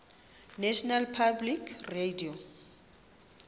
national public radio